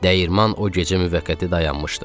Dəyirman o gecə müvəqqəti dayanmışdı.